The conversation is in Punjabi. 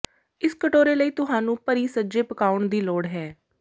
ਇਸ ਕਟੋਰੇ ਲਈ ਤੁਹਾਨੂੰ ਭਰੀ ਸੱਜੇ ਪਕਾਉਣ ਦੀ ਲੋੜ ਹੈ